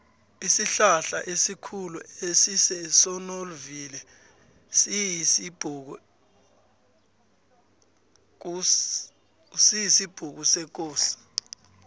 isihlahlaesikhulu esisesonovivili siyisibhukusekosi